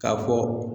K'a fɔ